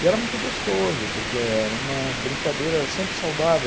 E era muito gostoso, porque era uma brincadeira sempre saudável.